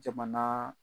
Jamana